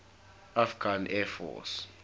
afghan air force